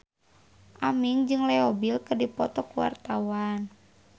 Aming jeung Leo Bill keur dipoto ku wartawan